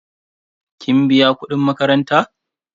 kin biya kudin makaranta?